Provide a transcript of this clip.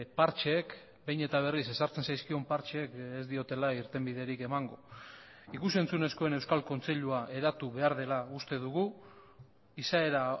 partxeek behin eta berriz ezartzen zaizkion partxeek ez diotela irtenbiderik emango ikus entzunezkoen euskal kontseilua eratu behar dela uste dugu izaera